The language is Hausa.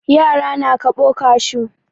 Yara na kaɓo kashu.